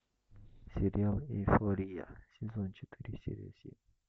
сериал эйфория сезон четыре серия семь